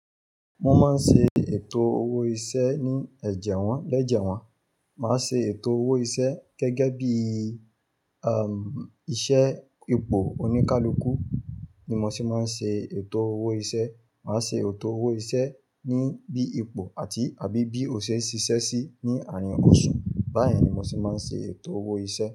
Mo máa ń ṣe ètò owó iṣẹ́ ní ẹ̀jẹ̀ wọ́n, lẹ́jẹ̀ wọ́n. Màá ṣe ètò owó iṣẹ́ gẹ́gẹ́ bí i, um, iṣẹ́ ipò òní ká l'óku ni mo se máa ń ṣe ètò owó iṣẹ́. Màá ṣe ètò owó iṣẹ́ ní bí ipò àti àbí bí ò ṣè e ṣiṣẹ́ sí ní àárín oṣù. Báyìí ni mo ti máa ń ṣe ètò owó iṣẹ́